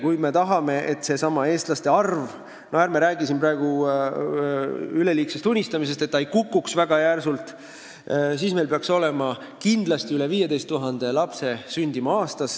Kui me tahame, et eestlaste arv – ärme räägi siin praegu üleliigsest unistamisest – väga järsult ei kukuks, siis meil peaks kindlasti aastas sündima üle 15 000 lapse.